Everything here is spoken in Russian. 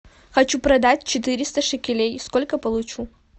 хочу продать четыреста шекелей сколько получу